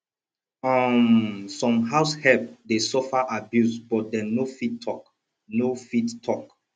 um some househelp de suffer abuse but dem no fit talk no fit talk